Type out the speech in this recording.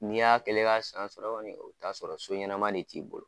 N'i y'a kɛlen ye ka san sɔrɔ kɔni , i bi t'a sɔrɔ so ɲuman de t'i bolo.